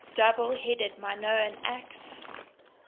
double headed minoan axe